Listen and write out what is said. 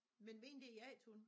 Men mine det er jagthunde